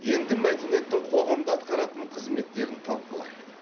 енді мәдениеттің қоғамда атқаратын қызметтерін талқылайық